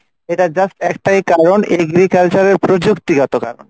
এটার just একটাই কারন agriculture এর প্রজুক্তিগত কারন।